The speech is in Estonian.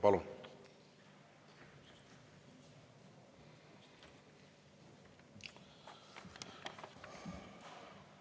Palun!